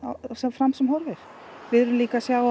fram sem horfir við erum líka að sjá